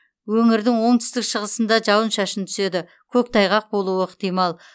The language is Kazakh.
өңірдің оңтүстік шығысыңда жауын шашын түседі көктайғақ болуы ықтимал